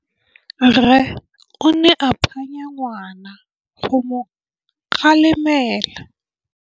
Rre o ne a phanya ngwana go mo galemela.